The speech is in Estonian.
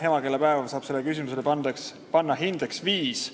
Emakeelepäeval saab sellele küsimusele panna hindeks viis.